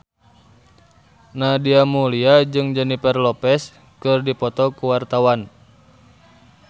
Nadia Mulya jeung Jennifer Lopez keur dipoto ku wartawan